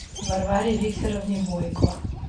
варваре викторовне бойко